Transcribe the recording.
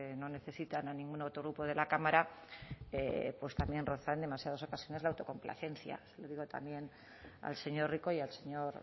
no necesitan ningún otro grupo de la cámara pues también roza en demasiadas ocasiones la autocomplacencia le digo también al señor rico y al señor